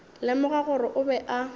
lemoga gore o be a